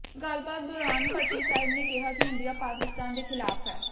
ਗੱਲਬਾਤ ਦੌਰਾਨ ਭੱਟੀ ਸਾਹਬ ਨੇ ਕਿਹਾ ਕਿ ਇੰਡੀਆ ਪਾਕਿਸਤਾਨ ਦੇ ਖ਼ਿਲਾਫ਼ ਹੈ